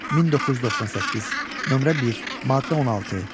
1998, nömrə 1, maddə 16.